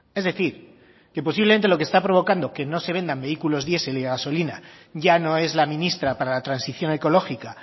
es decir que posiblemente lo que está provocando que no se vendan vehículos diesel y de gasolina ya no es la ministra para la transición ecológica